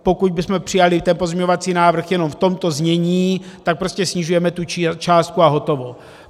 Pokud bychom přijali ten pozměňovací návrh jenom v tomto znění, tak prostě snižujeme tu částku a hotovo.